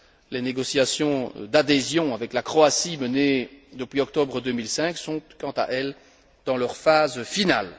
Les négociations d'adhésion avec la Croatie, menées depuis octobre 2005, sont, quant à elles, dans leur phase finale.